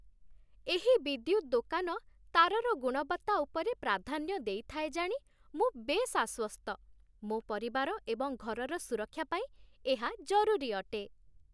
ଏହି ବିଦ୍ୟୁତ ଦୋକାନ ତାରର ଗୁଣବତ୍ତା ଉପରେ ପ୍ରାଧାନ୍ୟ ଦେଇଥାଏ ଜାଣି ମୁଁ ବେଶ୍ ଆଶ୍ୱସ୍ତ। ମୋ ପରିବାର ଏବଂ ଘରର ସୁରକ୍ଷା ପାଇଁ ଏହା ଜରୁରୀ ଅଟେ।